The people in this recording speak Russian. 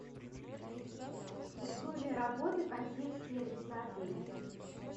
условия работы консьерж сервиса отеля